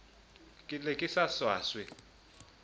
ke ne ke sa swaswe